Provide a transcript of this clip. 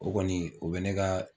O kɔni o bɛ ne ka